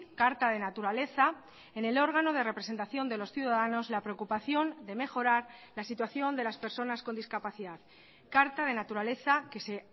carta de naturaleza en el órgano de representación de los ciudadanos la preocupación de mejorar la situación de las personas con discapacidad carta de naturaleza que se